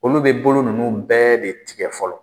Olu be bolo nunnu bɛɛ de tigɛ fɔlɔ